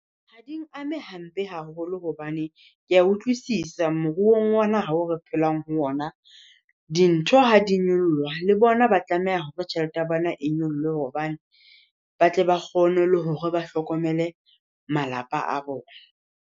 Ha ding ame hampe haholo, hobane Ke a utlwisisa moruong wa naha oo re phelang ho ona. Dintho ha di nyoloha le bona ba tlameha hore tjhelete ya bona e nyolohe, hobane ba tle ba kgone le hore ba hlokomele malapa a bona.